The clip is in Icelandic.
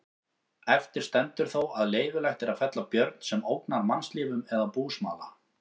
Eftir stendur þó að leyfilegt er að fella björn sem ógnar mannslífum eða búsmala.